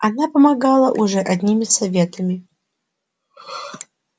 она помогала уже одними советами